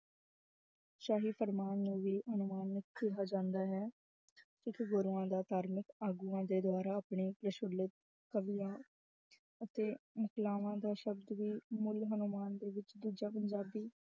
ਸ਼ਾਹੀ ਫੁਰਮਾਨ ਨੂੰ ਵੀ ਕਿਹਾ ਜਾਂਦਾ ਹੈ, ਕੁਛ ਗੁਰੂਆਂ ਦਾ ਧਾਰਮਕ ਆਗੂਆਂ ਦੇ ਦੁਆਰਾ ਆਪਣੇ ਕਵੀਆਂ ਅਤੇ ਦਾ ਸ਼ਬਦ ਵੀ ਦੇ ਵਿੱਚ ਦੂਜਾ